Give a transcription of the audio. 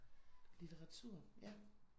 Litteratur ja